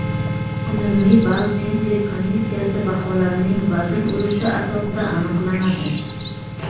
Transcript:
Umumiy ball tender komissiyasi baholarining vazn ulushi asosida aniqlanadi.